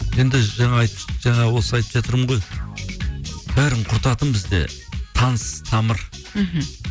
енді жаңа осы айтып жатырмын ғой бәрін құртатын бізде таныс тамыр мхм